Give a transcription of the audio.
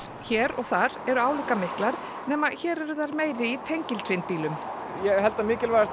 hér og þar eru álíka miklar nema að hér eru þær meiri í tengiltvinnbílum ég held að mikilvægast